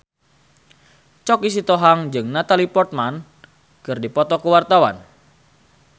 Choky Sitohang jeung Natalie Portman keur dipoto ku wartawan